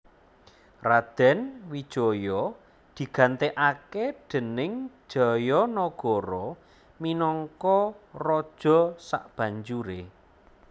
Radèn Wijaya digantèkaké déning Jayanagara minangka raja sabanjuré